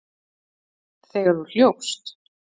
Þegar þú hljópst?